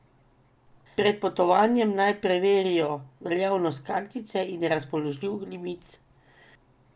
Pred potovanjem naj preverijo veljavnost kartice in razpoložljiv limit.